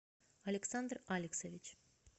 александр алексович